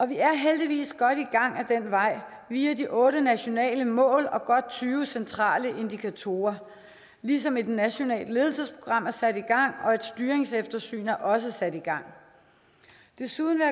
vi er heldigvis godt i gang ad den vej via de otte nationale mål og godt tyve centrale indikatorer ligesom et nationalt ledelsesprogram er sat i gang og et styringseftersyn også er sat i gang desuden vil